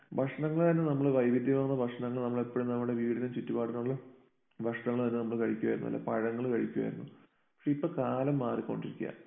ഭക്ഷണങ്ങള് തന്നെ നമ്മള് വൈവിധ്യമാർന്ന ഭക്ഷണങ്ങള് എപ്പഴും നമ്മുടെ വീടിന് ചുറ്റുപാടിനുമുള്ള ഭക്ഷണങ്ങള് തന്നെ നമ്മൾ കഴിക്കുമായിരുന്നു. നല്ല പഴങ്ങള് കഴിക്കുമായിരുന്നു. പക്ഷേ ഇപ്പോൾ കാലം മാറി കൊണ്ടിരിക്കുകയാ